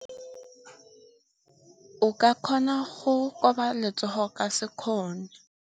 O ka kgona go koba letsogo ka sekgono.